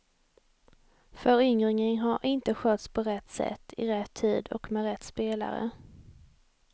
Föryngringen har inte skötts på rätt sätt, i rätt tid och med rätt spelare.